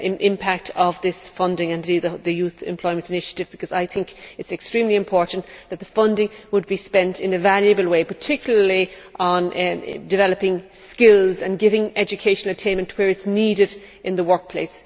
impact of this funding, and indeed the Youth Employment Initiative, because I think it is extremely important that the funding be spent in a valuable way, particularly on developing skills and giving education attainment where it is needed in the workplace.